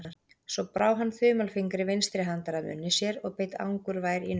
Svo brá hann þumalfingri vinstri handar að munni sér og beit angurvær í nöglina.